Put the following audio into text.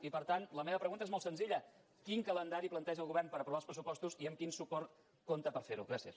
i per tant la meva pregunta és molt senzilla quin calendari planteja el govern per aprovar els pressupostos i amb quin suport compta per fer ho gràcies